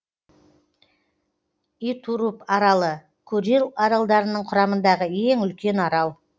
итуруп аралы курил аралдарының құрамындағы ең үлкен арал